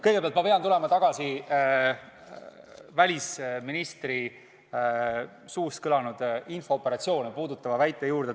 Kõigepealt pean tulema tagasi välisministri suust kõlanud infooperatsioone puudutanud väite juurde.